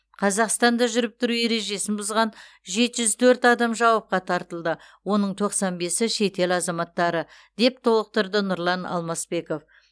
қазақстанда жүріп тұру ережесін бұзған жеті жүз төрт адам жауапқа тартылды оның тоқсан бесі шетел азаматтары деп толықтырды нұрлан алмасбеков